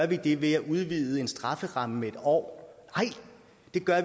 de samme når